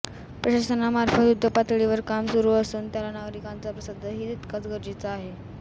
प्रशासनामार्फत युध्दपातळीवर काम सुरू असून त्याला नागरिकांचा प्रतिसादही तितकाच गरजेचा आहे